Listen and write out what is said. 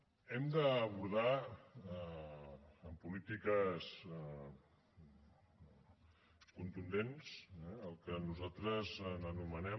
hem d’abordar amb polítiques contundents el que nosaltres anomenem